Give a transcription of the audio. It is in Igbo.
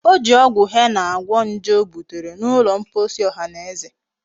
O ji ogwu henna gwo nje o butere n'ulo mkposi ohaneze